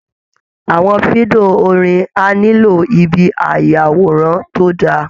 Àwọn fídíò orin á nílò ibi ayàwòrán tó dáa